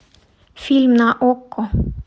фильм на окко